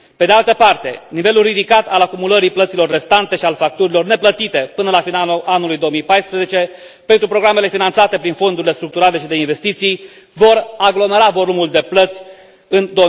Pe de altă parte, nivelul ridicat al acumulării plăților restante și al facturilor neplătite până la finalul anului 2014 pentru programele finanțate prin fondurile structurale și de investiții va aglomera volumul de plăți în